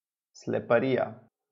Sleparija.